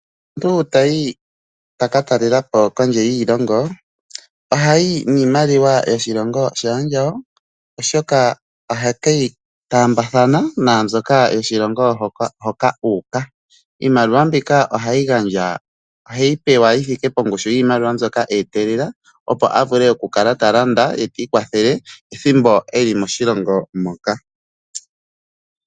Uuna omuntu tayi ta ka talela po kondje yoshilongo ohayi niimaliwa yoshilongo shaandjawo, oshoka ohake yi taambathana naambyoka yoshilongo hoka u uka. Iimaliwa mbika oheyi pewa yi thike pongushu yiimaliwa mbyoka e etelela, opo a vule okulanda ye ti ikwathele pethimbo e li moshilongo moka.